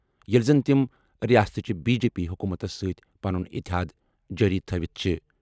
ییٚلہِ زن تِم رِیاستٕچہِ بی جے پی حکومتس سۭتۍ پنُن اِتحاد جٲری تھوِتھ چھِ ۔